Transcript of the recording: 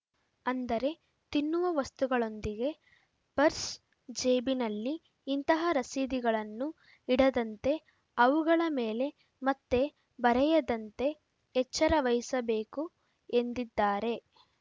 ಅಂದರೆ ತಿನ್ನುವ ವಸ್ತುಗಳೊಂದಿಗೆ ಪರ್ಸ್‌ ಜೇಬಿನಲ್ಲಿ ಇಂತಹ ರಸೀದಿಗಳನ್ನು ಇಡದಂತೆ ಅವುಗಳ ಮೇಲೆ ಮತ್ತೆ ಬರೆಯದಂತೆ ಎಚ್ಚರ ವಹಿಸಬೇಕು ಎಂದಿದ್ದಾರೆ